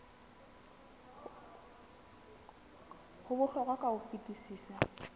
ho bohlokwa ka ho fetisisa